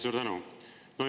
Suur tänu!